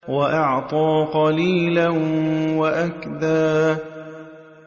وَأَعْطَىٰ قَلِيلًا وَأَكْدَىٰ